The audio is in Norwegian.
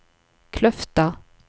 Kløfta